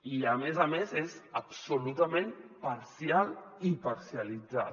i a més a més és absolutament parcial i parcialitzada